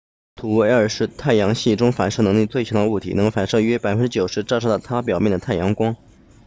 土卫二 enceladus 是太阳系中反射能力最强的物体能反射约 90％ 照射到它表面的太阳光